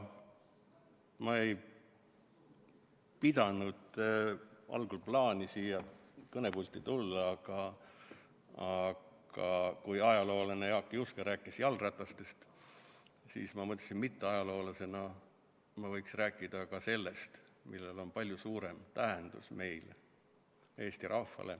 Ma ei pidanudki algul plaani siia kõnepulti tulla, aga kui ajaloolane Jaak Juske rääkis jalgratastest, siis ma mõtlesin, et mitteajaloolasena ma võiksin rääkida ka sellest, millel on meile, Eesti rahvale, palju suurem tähendus.